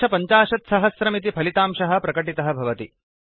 750000 इति फलितांशः प्रकटितः भवति